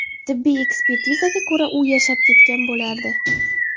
Tibbiy ekspertizaga ko‘ra, u yashab ketgan bo‘lardi.